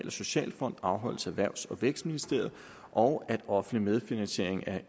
og socialfonden afholdes af erhvervs og vækstministeriet og at offentlig medfinansiering af